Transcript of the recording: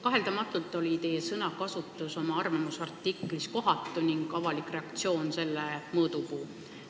Kaheldamatult oli teie sõnakasutus oma arvamusavalduses kohatu, avalik reaktsioon oligi selle mõõdupuu.